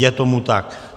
Je tomu tak.